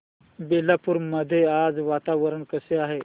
बेलापुर मध्ये आज वातावरण कसे आहे